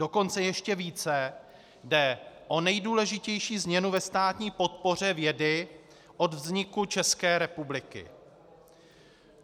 Dokonce ještě více jde o nejdůležitější změnu ve státní podpoře vědy od vzniku České republiky.